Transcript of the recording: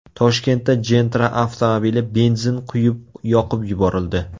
Toshkentda Gentra avtomobili benzin quyib yoqib yuborildi.